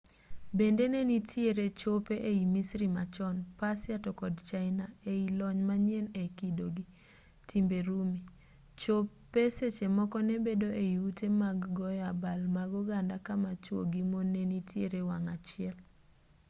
bende ne nitiere chope ei misri machon persia to kod china ei lony manyien e kido gi timbe rumi chope seche moko ne bedo ei ute mag goyo abal mag oganda kama chuo gi mon ne nitiere wang' achiel